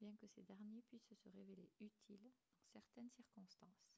bien que ces derniers puissent se révéler utiles dans certaines circonstances